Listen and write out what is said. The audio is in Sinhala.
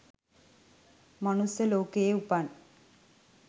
මනුස්ස ලෝකයේ උපන්,